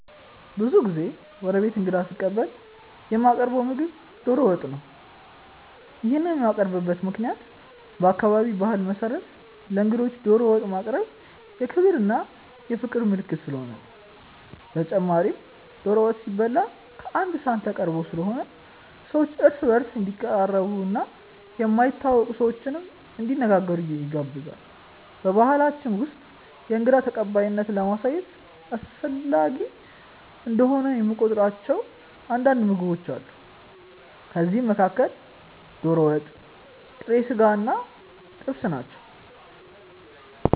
ብዙ ጊዜ ወደ ቤቴ እንግዳ ስቀበል የማቀርው ምግብ ዶሮ ወጥ ነው። ይሄንን የማቀርብበት ምክንያትም በአካባቢዬ ባህል መሰረት ለእንግዶች ዶሮ ወጥ ማቅረብ የክብር እና የፍቅር ምልክት ስለሆነ ነው። በተጨማሪም ዶሮ ወጥ ሲበላ ቀአንድ ሰሀን ተቀርቦ ስለሆነ ሰዎች እርስ በእርስ እንዲቀራረቡ እና የማይተዋወቁ ሰዎችንም እንዲነጋገሩ ያግዛል። በባሕላችን ውስጥ የእንግዳ ተቀባይነትን ለማሳየት አስፈላጊ እንደሆነ የሚቆጥሯቸው አንዳንድ ምግቦች አሉ። ከእነዚህም መካከል ዶሮ ወጥ፣ ጥሬ ስጋ እና ጥብስ ናቸው።